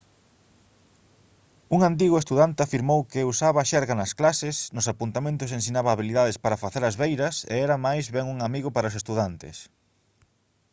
un antigo estudante afirmou que «usaba xerga nas clases nos apuntamentos ensinaba habilidades para facer as beiras e era máis ben un amigo para os estudantes»